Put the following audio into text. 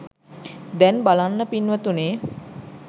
දැන් බලන්න පින්වතුනි